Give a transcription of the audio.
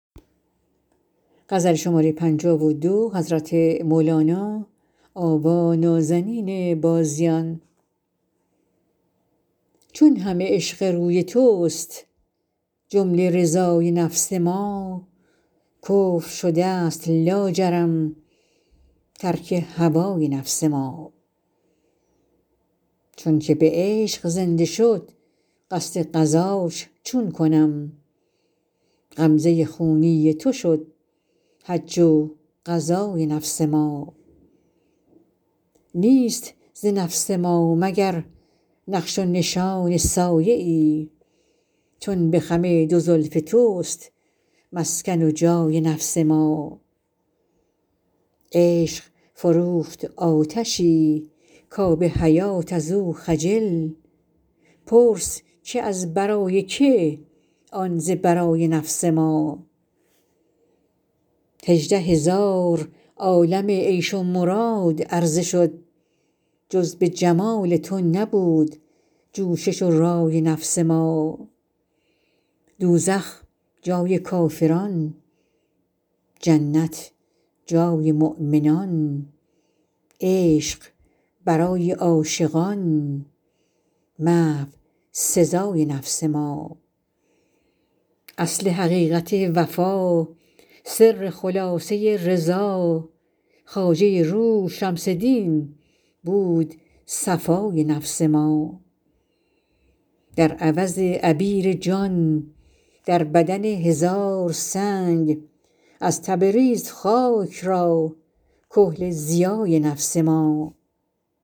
چون همه عشق روی تست جمله رضای نفس ما کفر شده ست لاجرم ترک هوای نفس ما چونکه به عشق زنده شد قصد غزاش چون کنم غمزه خونی تو شد حج و غزای نفس ما نیست ز نفس ما مگر نقش و نشان سایه ای چون به خم دو زلف تست مسکن و جای نفس ما عشق فروخت آتشی کآب حیات از او خجل پرس که از برای که آن ز برای نفس ما هژده هزار عالم عیش و مراد عرضه شد جز به جمال تو نبود جوشش و رای نفس ما دوزخ جای کافران جنت جای مؤمنان عشق برای عاشقان محو سزای نفس ما اصل حقیقت وفا سر خلاصه رضا خواجه روح شمس دین بود صفای نفس ما در عوض عبیر جان در بدن هزار سنگ از تبریز خاک را کحل ضیای نفس ما